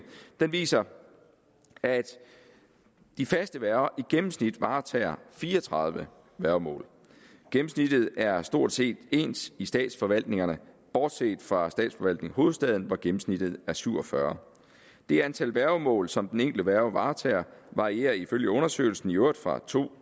viser at de faste værger i gennemsnit varetager fire og tredive værgemål gennemsnittet er stort set ens i statsforvaltningerne bortset fra statsforvaltningen hovedstaden hvor gennemsnittet er syv og fyrre det antal værgemål som den enkelte værge varetager varierer ifølge undersøgelsen i øvrigt fra to